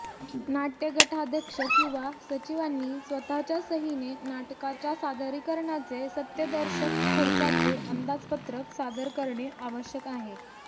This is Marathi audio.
नाटय़ गटाध्यक्ष किंवा सचिवांनी स्वतःच्या सहीने नाटकाच्या सादरीकरणाचे सत्यदर्शक खर्चाचे अंदाजपत्रक सादर करणे आवश्यक आहे